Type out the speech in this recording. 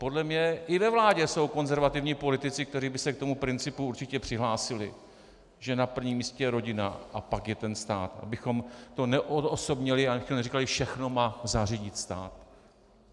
Podle mě i ve vládě jsou konzervativní politici, kteří by se k tomu principu určitě přihlásili, že na prvním místě je rodina a pak je ten stát, abychom to neodosobnili a neříkali, že všechno má zařídit stát.